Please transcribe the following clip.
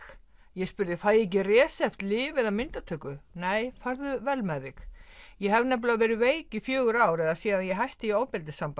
ég spurði fæ ég ekki resept lyf eða myndatöku nei farðu vel með þig ég hef nefnilega verið veik í fjögur ár eða síðan ég hætti í ofbeldissambandi